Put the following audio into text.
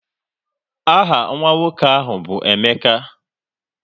Aha nwa nwoke ahụ bụ Emeka